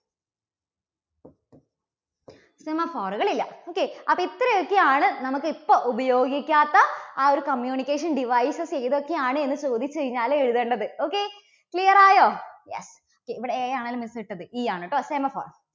semaphore കൾ ഇല്ല. okay അപ്പോൾ ഇത്രയൊക്കെ ആണ് നമ്മക്ക് ഇപ്പോ ഉപയോഗിക്കാത്ത ആ ഒരു communication devices ഏതൊക്കെയാണ് എന്ന് ചോദിച്ചു കഴിഞ്ഞാൽ എഴുതേണ്ടത്. okay clear ആയോ? ya, okay ഇവിടെ അങ്ങനെ E ആണ് കേട്ടോ semaphore